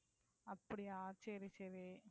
அப்படியா சரி, சரி.